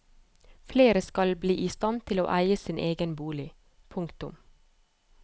Flere skal bli i stand til å eie sin egen bolig. punktum